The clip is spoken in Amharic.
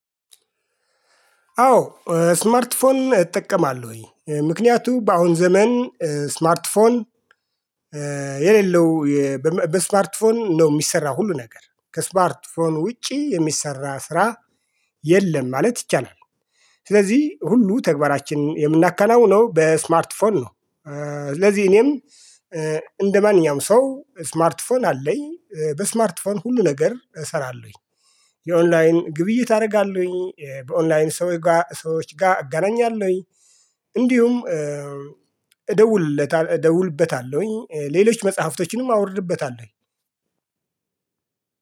አዎ ስማርትፎን እጠቀማለሁኝ ምክንያቱ በአሁን ዘመን ስማርት ፎን የሌለው በስማርትፎን ነው የሚሰራው ሁሉ ነገር ከስማርትፎን ውጪ የሚሰራ ስራ የለም ማለት ይቻላል። ስለዚህ ሁሉ ተግባራችን የምናከናውነው በስማርት ፎን ነው። ስለዚህ እኔም እንደማንኛውም ሰው ስማርት ፎን አለኝ በስማርት ሁሉ ነገር እሰራለሁኝ። የኦንላይን ግብይት አደርጋለሁኝ በኦንላይን ሰዎች ጋር አጋናኛለሁኝ። እንዲሁም እደውልለታለሁኝ ሌሎች መጽሐፍቶችንም አውርድበታለሁኝ።